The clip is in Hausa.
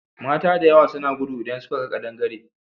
Mata da yawa suna gudu idan suka ga ƙadangare.